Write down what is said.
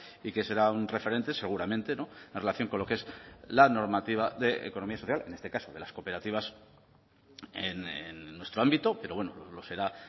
y que será un referente seguramente en relación con lo que es la normativa de economía social en este caso de las cooperativas en nuestro ámbito pero bueno lo será